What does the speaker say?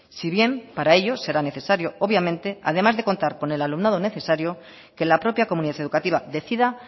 si bien para ello será necesario obviamente además de contar con el alumnado necesario que la propia comunidad educativa decida